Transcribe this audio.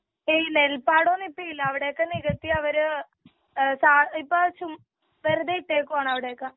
ഏയ് നെൽപ്പാടവൊന്നും ഇപ്പൊ ഇല്ല.അവിടെയൊക്കെ നികത്തിയവര് ഏ ചാ ഇപ്പോ ചുമ്മാ വെറുതെ ഇട്ടേക്കുവാണ് അവിടൊക്കെ.